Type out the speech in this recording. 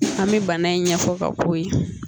An mi bana in ɲɛfɔ ka ko ye